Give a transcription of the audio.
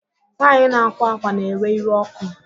Nwaanyị na-akwa akwa na-ewe iwe ọkụ